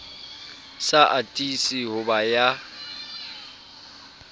sa atise ho ba ya